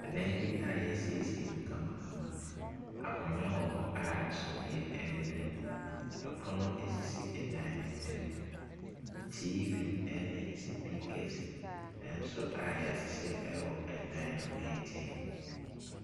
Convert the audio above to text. Dan bi mu yɛasiesie mu kamakama, akonnwa wɔ hɔ a suneɛ da mu. Pono ɛsisi dan no ntamu, TV ɛne supiikɛse nso a yɛahyehyɛ a ɛwɔ dan no nkyɛn.